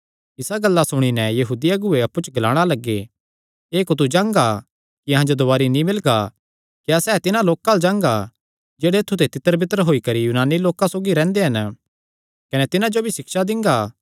इसा गल्ला सुणी नैं यहूदी अगुऐ अप्पु च ग्लाणा लग्गे एह़ कुत्थू जांगा कि अहां जो दुवारी नीं मिलगा क्या सैह़ तिन्हां लोकां अल्ल जांगा जेह्ड़े ऐत्थु ते तितरबितर होई करी यूनानी लोकां सौगी रैंह्दे हन कने तिन्हां जो भी सिक्षा दिंगा